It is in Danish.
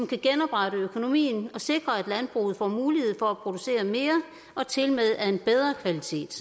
kan genoprette økonomien og sikre at landbruget får mulighed for at producere mere og tilmed af en bedre kvalitet